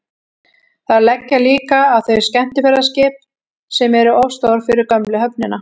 þar leggja líka að þau skemmtiferðaskip sem eru of stór fyrir gömlu höfnina